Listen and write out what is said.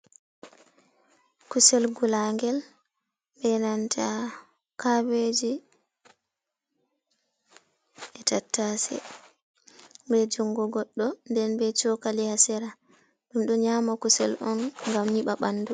Kusel gulagel, be nanta kabeji, e tattase bejungo goɗɗo nden be cokali hasera, ɗum ɗo nyama kusel on ngam nyiɓa ɓandu.